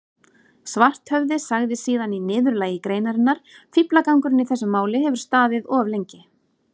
Svarthöfði sagði síðan í niðurlagi greinarinnar: Fíflagangurinn í þessu máli hefur staðið of lengi.